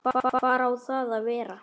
Hvar á það að vera?